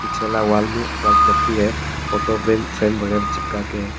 पीछे वाला वॉल में वॉल क्लॉक भी है फोटो पे फ्रेम वगैरा चिपका के है।